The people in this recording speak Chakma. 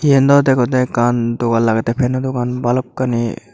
eyan dow degode ekkan dogan lagete feno dogan balokkani.